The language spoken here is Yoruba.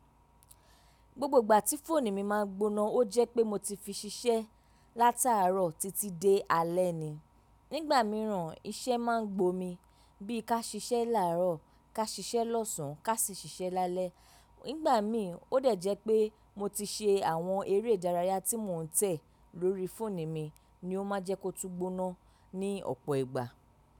Gbogbo ìgbà tí fóònù mi ma ń gbóná, ó jẹ́ pé mo ti fi ṣiṣẹ́ látaààrọ̀ títí dé alé ni. Nígbà mìíràn iṣẹ́ ma ń gbomi bí i ká ṣiṣẹ́ làárọ̀, ká ṣiṣẹ́ lọ́sàn án, ká sì ṣiṣẹ́ lálẹ́. Nígbà mi, ó dẹ̀ jẹ́ pé mo ti ṣe àwọn eré ìdárayá tí mò ń tẹ̀ lórí fóònù mi ni ó ma ń jẹ́ kó tú gbóná ní ọ̀pọ̀ ìgbà.